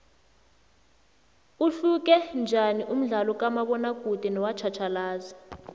uhluke njaniumdlalokamabona kude nowatjhatjhalazi